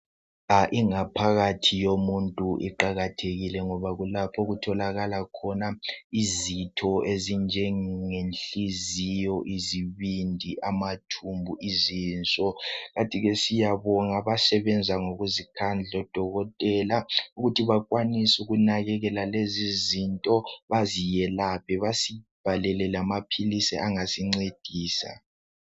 Ingaphakathi yomuntu iqakathekile ngoba kulapho okutholakala khona izitho ezinjenge nhliziyo izibindi amathumbu izinso kant ke siyabonga abasebenza ngokuzikhandla odokotela ukuthi bekwanise ukunakekela lezi izifo beziyelaphe basibhalele lama pills angasingcedisa